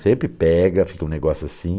Sempre pega, fica um negócio assim.